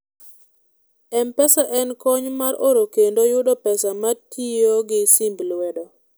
mpesa en kony mar oro kendo yudo pesa matiyogi simb lwedo